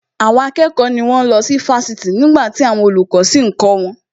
Àwọn akẹ́kọ̀ọ́ ni wón ń lọ sí Fásitì nígbàtí àwọn olùkọ́ sì ń kọ́ wọn